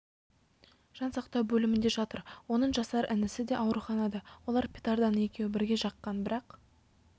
жан сақтау бөлімінде жатыр оның жасар інісі де ауруханада олар петарданы екеуі бірге жаққан бірақ